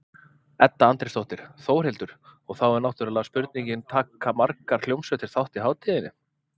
Edda Andrésdóttir: Þórhildur, og þá er náttúrulega spurningin, taka margar hljómsveitir þátt í hátíðinni?